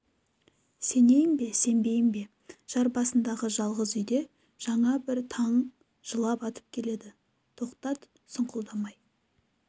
сенейін бе сенбейін бе жар басындағы жалғыз үйде жаңа бір таң жылап атып келеді тоқтат сұңқылдамай